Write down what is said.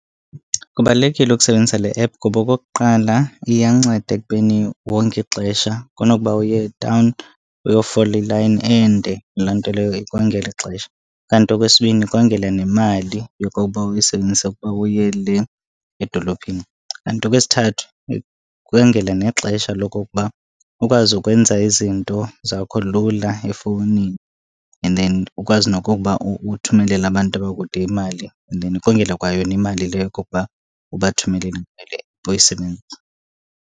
Kubalulekile ukusebenzisa le app. Kuba okokuqala, iyanceda ekubeni wonge ixesha kunokuba uye etawuni uyofola ilayini ende, loo nto leyo ikongela ixesha. Kanti okwesibini, ikongela nemali yokokuba uyisebenzise ukuba uye le edolophini. Kanti okwesithathu, ikongela nexesha lokokuba ukwazi ukwenza izinto zakho lula efowunini. And then ukwazi nokokuba uthumelele abantu abakude imali and then ikongela kwayona imali le yokokuba ubathumelele ngale boyisebenzisa.